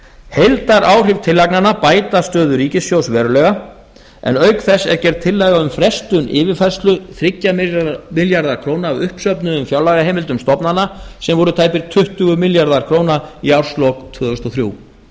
heildaráhrif tillagnanna bæta stöðu ríkissjóðs verulega en auk þess er gerð tillaga um frestun yfirfærslu þrjá milljarða króna af uppsöfnuðum fjárlagaheimildum stofnana sem voru tæpir tuttugu milljarðar króna í árslok tvö þúsund og þrjú